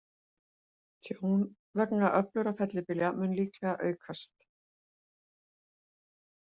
Tjón vegna öflugra fellibylja mun líklega aukast.